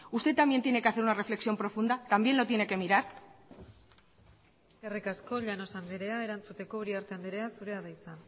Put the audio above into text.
usted también tiene que hacer una reflexión profunda también lo tiene que mirar eskerrik asko llanos andrea erantzuteko uriarte andrea zurea da hitza